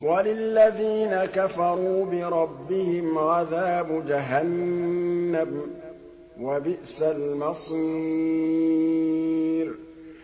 وَلِلَّذِينَ كَفَرُوا بِرَبِّهِمْ عَذَابُ جَهَنَّمَ ۖ وَبِئْسَ الْمَصِيرُ